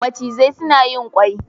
macizai suna yin ƙwai